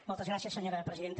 moltes gràcies senyora presidenta